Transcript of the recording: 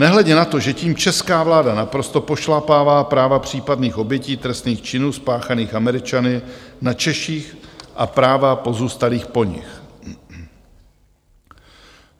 Nehledě na to, že tím česká vláda naprosto pošlapává práva případných obětí trestných činů spáchaných Američany na Češích a práva pozůstalých po nich.